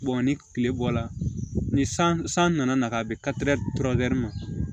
ni tile bɔla ni san nana na ka bɛn ma